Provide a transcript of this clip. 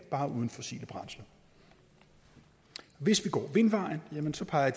bare uden fossile brændsler hvis vi går vindvejen jamen så peger